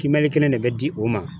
Kiimɛni kelen de bɛ di o ma